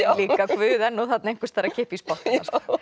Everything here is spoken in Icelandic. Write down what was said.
við líka guð er þarna einhvers staðar að kippa í spotta já